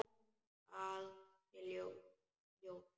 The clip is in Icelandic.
Að hún sé ljón.